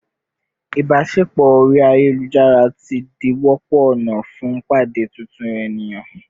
ibaṣepọ ori ayelujara ti di a wọpọ ọna fun pade titun eniyan